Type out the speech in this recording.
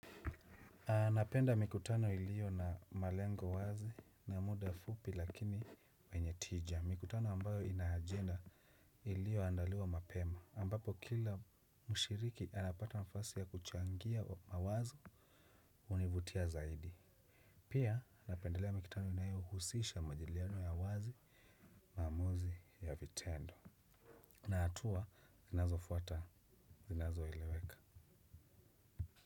Napenda mikutano ilio na malengo wazi na muda fupi lakini mwenye tija. Mikutano ambayo ina ajenda ilioandaliwa mapema. Ambapo kila mushiriki anapata nafasi ya kuchangia mawazo univutia zaidi. Pia napendelea mikutano inayohusisha majadiliano ya wazi maamuzi ya vitendo. Na atua zinazofuata zinazoileweka.